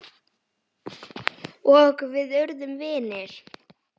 Og við urðum vinir.